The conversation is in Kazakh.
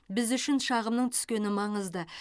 біз үшін шағымның түскені маңызды